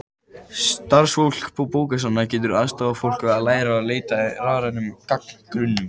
Starfsfólk bókasafna getur aðstoðað fólk við að læra að leita í rafrænum gagnagrunnum.